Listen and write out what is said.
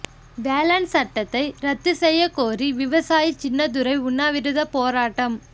வேளாண் சட்டத்தை ரத்து செய்ய கோரி விவசாயி சின்னதுரை உண்ணாவிரத போராட்டம்